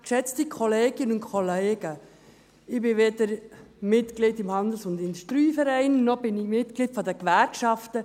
Ich bin weder Mitglied des HIV, noch bin ich Mitglied der Unia-Gewerkschaft.